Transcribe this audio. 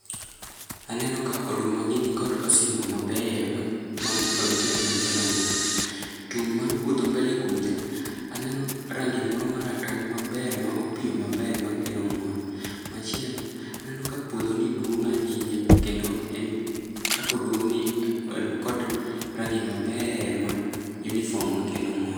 Aneno ka odumagi nikod osimbo mabeyo makelo mor. Tung' mar puodho mbele kucha aneno rangi moro maratong' maber ma opiyo maber makelo mor. Machielo aneno ka puodhoni duong' ahinya kendo en kakoduong'ni en kod rangi maber ma uniform makelo mor.